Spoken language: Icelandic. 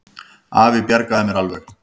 Afi bjargaði mér alveg.